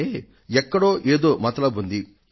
అంటే ఎక్కడో ఏదో మతలబు ఉంది